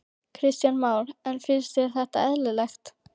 Kristján Már: En finnst þér þetta eðlilegt?